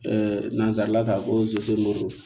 nanzarala k'a ko